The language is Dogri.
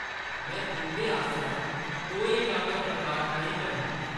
में तुंʼदे आसेआ कोई अनादर बर्दाश्त नेईं करङ।